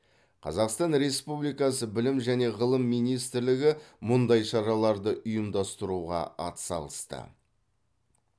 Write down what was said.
қазақстан республикасы білім және ғылым министрлігі мұндай шараларды ұйымдастыруға атсалысты